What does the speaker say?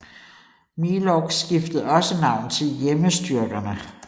Milorg skiftede også navn til Hjemmestyrkerne